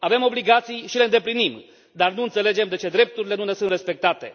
Avem obligații și le îndeplinim, dar nu înțelegem de ce drepturile nu ne sunt respectate.